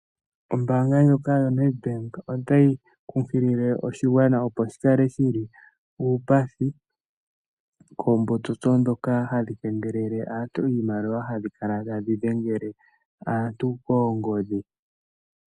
Ombaanga ndjoka yoNedbank otayi kunkilile oshigwana opo shikale shili uupathi koombotsotso dhoka hadhi kengelele aantu iimaliwa, hadhikala tadhi dhengele aantu koongodhi.